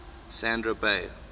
sandra day